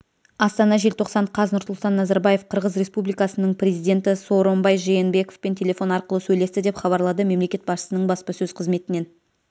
астана желтоқсан қаз нұрсұлтан назарбаев қырғыз республикасының президенті сооронбай жээнбековпен телефон арқылы сөйлесті деп хабарлады мемлекет басшысының баспасөз қызметінен